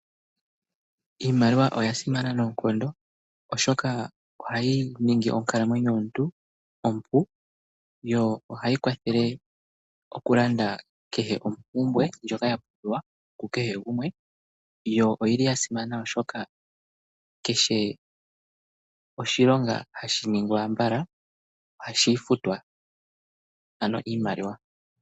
Iimaliwa oya simana noonkondo oshoka ohayi ningi onkalamwenyo yomuntu ompu yo ohayi kwathele oku landa kehe ompumbwe ndjoka ya pumbiwa ku kehe gumwe yo oyili ya simana, oshoka kehe oshilonga hashi ningwa mbala ohashi futwa ano iimaliwa.